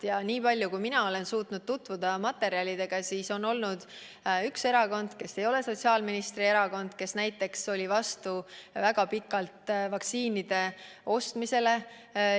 Ja nii palju, kui mina olen suutnud materjalidega tutvuda, on olnud üks erakond, kes ei ole sotsiaalministri erakond, aga kes oli väga pikalt vastu vaktsiinide ostmisele.